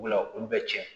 Olu bɛ tiɲɛ